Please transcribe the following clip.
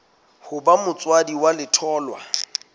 ho ba motswadi wa letholwa